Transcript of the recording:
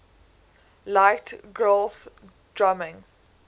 liked grohl's drumming